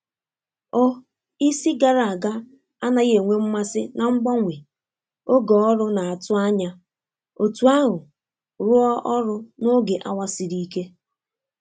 O isi gara aga anaghi enwe mmasi na mgbanwe oge ọrụ na-atu anya otu ahu rụo ọrụ n'oge awa siri ike.